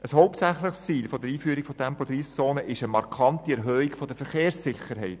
Ein hauptsächliches Ziel der Einführung von Tempo-30-Zonen ist eine markante Erhöhung der Verkehrssicherheit.